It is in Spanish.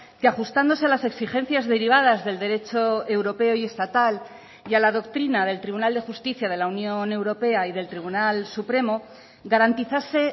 que ajustándose a las exigencias derivadas del derecho europeo y estatal y a la doctrina del tribunal de justicia de la unión europea y del tribunal supremo garantizase